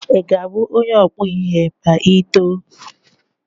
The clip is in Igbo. Ị ga-abụ onye ọkpụ ihe ma Ị too?